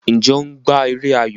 Njé o gbà èrè ayọ?